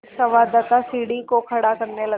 एक संवाददाता सीढ़ी को खड़ा करने लगा